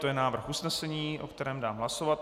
To je návrh usnesení, o kterém dám hlasovat.